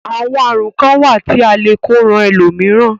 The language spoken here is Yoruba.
Àwọn àrùn kán wà tí a le e kó ran ẹlòmíràn.